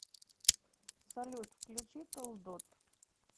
салют включи толдот